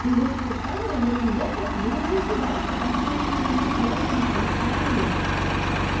ты вышел из камеры ёбнул доктора тебе нужно идти дальше там тебе ещё нужно будет наверх подняться там охрана есть